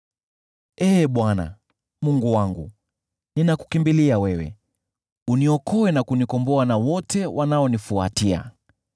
Ee Bwana , Mungu wangu, ninakukimbilia wewe, uniokoe na kunikomboa na wote wanaonifuatia,